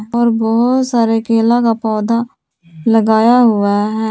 और बहुत सारे केला का पौधा लगाया हुआ है।